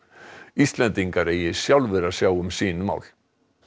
Íslendingar eigi sjálfir að sjá um sín mál